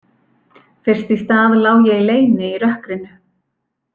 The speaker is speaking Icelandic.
Fyrst í stað lá ég í leyni í rökkrinu.